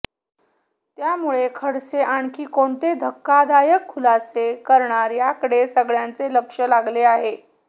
त्यामुळे खडसे आणखी कोणते धक्कादायक खुलासे करणार याकडे सगळ्यांचे लक्ष लागले आहे